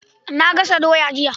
Na gas doya jiya.